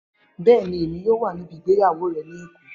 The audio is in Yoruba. Bẹẹni, Emi yoo wa nibi igbeyawo rẹ ni Eko.